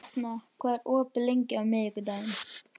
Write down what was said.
Etna, hvað er opið lengi á miðvikudaginn?